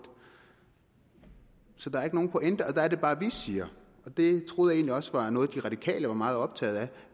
så der er ikke nogen pointe der er det bare vi siger og det troede jeg egentlig også var noget de radikale var meget optaget af